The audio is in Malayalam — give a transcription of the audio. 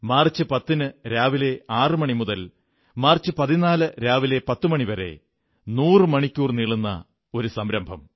മാർച്ച് 10 രാവിലെ 6 മണി മുതൽ മാർച്ച് 14 രാവിലെ 10 മണി വരെ നൂറു മണിക്കൂർ നീളുന്ന സംരംഭം